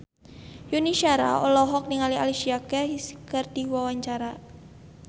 Yuni Shara olohok ningali Alicia Keys keur diwawancara